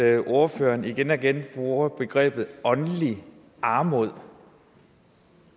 at ordføreren igen og igen bruger begrebet åndelig armod